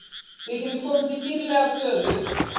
Við getum komist í dýrlega stöðu